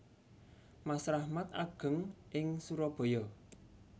Mas Rahmat ageng ing Surabaya